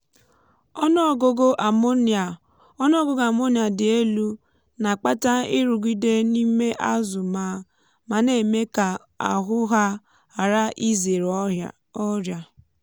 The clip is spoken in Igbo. ọnụ ọgụgụ ammonia ọnụ ọgụgụ ammonia dị elu na-akpata nrụgide n’ime azụ ma na-eme ka ahụ há ghara izèrè ọrịa.